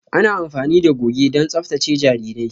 Ana amfani da goge don tsaftace jarirai.